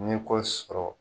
Ni ko sɔrɔ